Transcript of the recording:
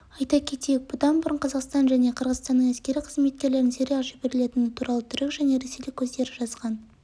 айта кетейік бұдан бұрын қазақстан және қырғызстанның әскери қызметкерлерінің сирияға жіберілетіні туралы түрік және ресейлік көздері жазған